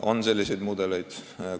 On selliseid mudeleid!